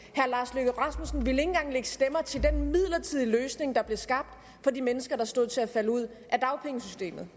herre lars løkke rasmussen ville ikke engang lægge stemmer til den midlertidige løsning der blev skabt for de mennesker der stod til at falde ud af dagpengesystemet